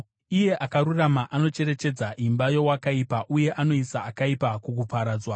Iye Akarurama anocherechedza imba yeakaipa, uye anoisa akaipa kukuparadzwa.